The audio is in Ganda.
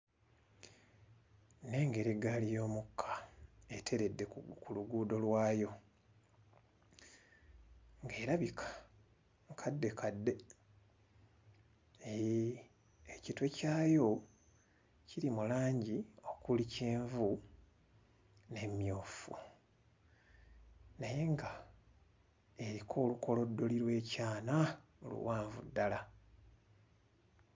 Nnengera eggaali y'omukka eteredde ku luguudo lwayo ng'erabika nkaddekadde. Hee, ekitwe kyayo kiri mu langi okuli kyenvu n'emmyufu naye ng'eriko olukoloddoli lw'ekyana oluwanvu ddala.